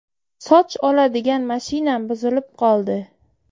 Soch oladigan mashinam buzilib qoldi”.